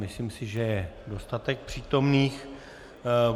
Myslím si, že je dostatek přítomných.